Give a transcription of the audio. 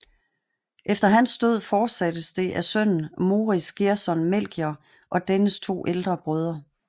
Efter hans død fortsattes det af sønnen Moritz Gerson Melchior og dennes to ældre brødre